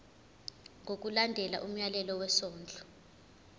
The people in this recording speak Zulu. ngokulandela umyalelo wesondlo